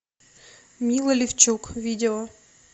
мила левчук видео